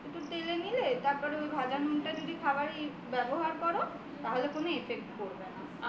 একটু তেলে নিলে তারপর যদি ওই ভাজা নুনটা খাবারে ব্যবহার করো তাহলে কোন effect পরবে না